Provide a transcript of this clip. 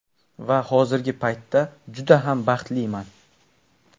Va hozirgi paytda juda ham baxtliman.